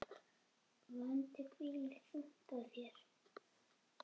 Vandi hvílir þungt á þér.